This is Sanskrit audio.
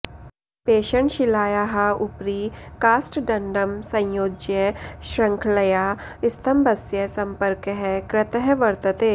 पेषणशिलायाः उपरि काष्ठदण्डं संयोज्य शृङ्खलया स्तम्भस्य सम्पर्कः कृतः वर्तते